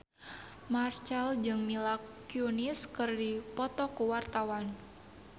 Marchell jeung Mila Kunis keur dipoto ku wartawan